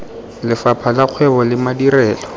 lefapha la kgwebo le madirelo